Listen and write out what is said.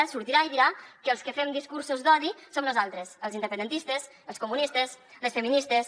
sortirà i dirà que els que fem discursos d’odi som nosaltres els independentistes els comunistes les feministes